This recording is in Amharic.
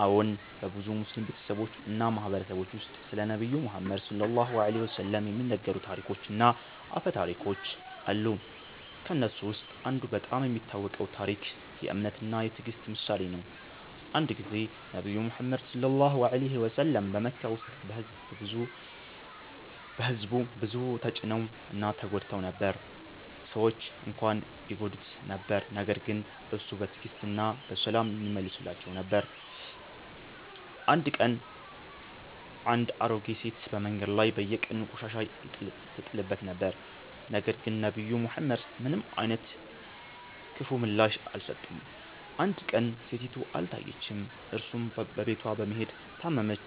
አዎን፣ በብዙ ሙስሊም ቤተሰቦች እና ማህበረሰቦች ውስጥ ስለ ነብዩ መሐመድ (ሰ.ዐ.ወ) የሚነገሩ ታሪኮች እና አፈ ታሪኮች አሉ። ከእነሱ ውስጥ አንዱ በጣም የሚታወቀው ታሪክ የ“እምነት እና ትዕግስት” ምሳሌ ነው። አንድ ጊዜ ነብዩ መሐመድ (ሰ.ዐ.ወ) በመካ ውስጥ በሕዝቡ ብዙ ተጭነው እና ተጎድተው ነበር። ሰዎች እንኳን ይጎዱት ነበር ነገር ግን እርሱ በትዕግስት እና በሰላም ይመልሳቸው ነበር። አንድ ቀን አንድ አሮጌ ሴት በመንገድ ላይ በየቀኑ ቆሻሻ ይጥልበት ነበር፣ ነገር ግን ነብዩ መሐመድ ምንም አይነት ክፉ ምላሽ አልሰጠም። አንድ ቀን ሴቲቱ አልታየችም፣ እርሱም በቤቷ በመሄድ ታመመች